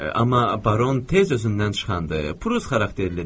Amma baron tez özündən çıxandır, Prus xarakterlidir.